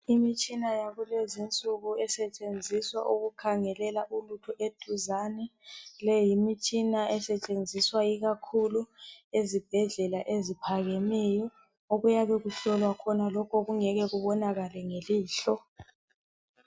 Imitshina yakulezinsuku esetshenziswa ukukhangelela ulutho eduzane. Leyi yimitshina esetshenziswa ikakhulu ezibhedlela eziphakemeyo, okuyabe kuhlolwa khona lokho okungeke kubonakale ngelihlo.